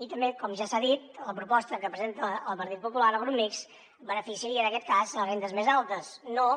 i també com ja s’ha dit la proposta que presenta el partit popular el grup mixt beneficiaria en aquest cas les rendes més altes no